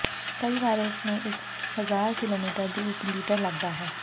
ਕਈ ਵਾਰ ਇਸ ਨੂੰ ਇੱਕ ਹਜ਼ਾਰ ਕਿਲੋਮੀਟਰ ਦੀ ਇੱਕ ਲੀਟਰ ਲੱਗਦਾ ਹੈ